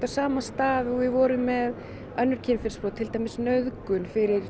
sama stað og við vorum með önnur kynferðisbrot fyrir